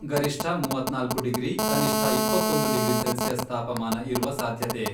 ಗರಿಷ್ಠ ಮೂವತ್ನಾಲ್ಕು ಡಿಗ್ರಿ, ಕನಿಷ್ಠ ಇಪ್ಪತ್ತೊಂದು ಡಿಗ್ರಿ ಸೆಲ್ಸಿಯಸ್ ತಾಪಮಾನ ಇರುವ ಸಾಧ್ಯತೆ.